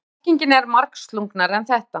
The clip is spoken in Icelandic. En merkingin er margslungnari en þetta.